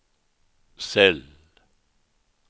cell